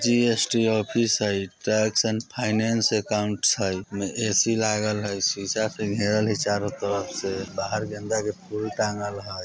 GST office हई tax and finance accounts हई एमे ए_सी लागल य हय शीशा से घेरल हई चारों तरफ से बाहर गेंदा के फूल टांगल हय।